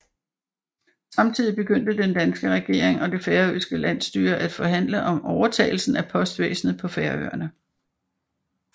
Samtidig begyndte den danske regering og det færøske landsstyre at forhandle om overtagelse af postvæsenet på Færøerne